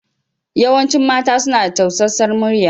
Yawancin mata suna da tausasar muryar.